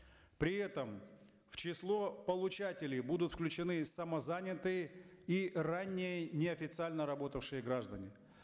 при этом в число получателей будут включены самозанятые и ранее неофициально работавшие граждане